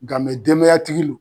Nka denmaya tigilon